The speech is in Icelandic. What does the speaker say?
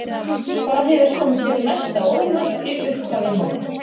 Hvað hefur komið þér mest á óvart í upphafi móts?